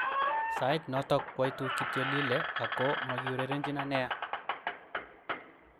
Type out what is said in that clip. "Sait noto kwoitu kityo Lille ako makiurerenjino nea.